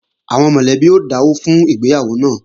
Àwọn mọ̀lẹ́bí ó dáwọ́ fún ìgbéyàwó náà